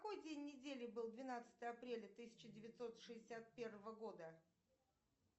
какой день недели был двенадцатое апреля тысяча девятьсот шестьдесят первого года